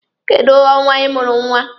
Kedụ ọnwa ị mụrụ nwa?